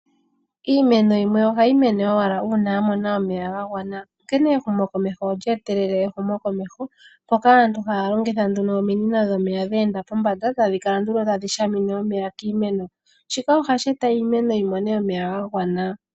Iimeno yimwe ohayi mene owala uuna ya mona omeya ga gwana. Onkene ehumokomeho olye etelele ehumokomeho, mpoka aantu haya longitha nduno ominino dhomeya dhe enda pombanda, tadhi kala nduno tadhi shamine omeya kiimeno. Shika ohashi e ta iimeno yi mone omeya ga gwana.